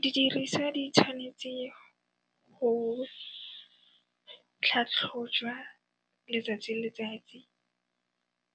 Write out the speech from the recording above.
Didirisa di tshwanetse go tlhatlhojwa letsatsi le letsatsi